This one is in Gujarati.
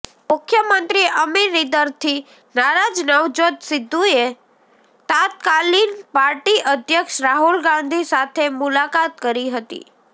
મુખ્યમંત્રી અમરિંદરથી નારાજ નવજોત સિદ્ધુએ તત્કાલીન પાર્ટી અધ્યક્ષ રાહુલ ગાંધી સાથે મુલાકાત કરી હતી